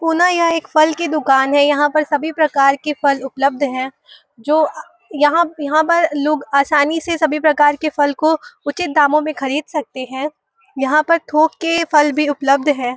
पुनः यह एक फल की दुकान है यहां पर सभी प्रकार के फल उपलब्ध हैं। जो य यहां यहां पर लोग आसानी से सभी प्रकार के फल को उचित दामों में खरीद सकते हैं। यहां पर थोक के फल भी उपलब्ध हैं।